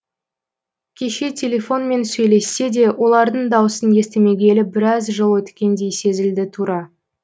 кеше телефонмен сөйлессе де олардың даусын естімегелі біраз жыл өткендей сезілді тура